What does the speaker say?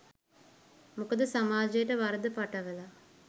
මොකද සමාජයට වරද පටවලා